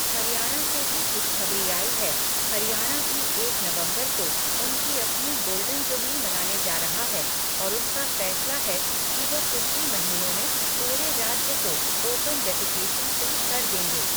हरियाणा से भी खुशखबरी आई है, हरियाणा भी एक नवम्बर को उनकी अपनी गोल्डन जुबली मनाने जा रहा है और उनका फैसला है कि वो कुछ ही महीनों में पूरे राज्य को ओपन डेफिकेशन फ्री कर देंगे।